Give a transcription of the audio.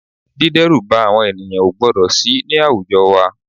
Dídẹ́rùba àwọn ènìyàn o gbọ́dọ̀ sì ní àwùjọ wa